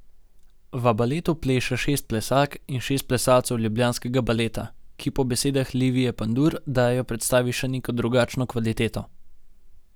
V baletu pleše šest plesalk in šest plesalcev ljubljanskega Baleta, ki po besedah Livije Pandur dajejo predstavi še neko drugačno kvaliteto.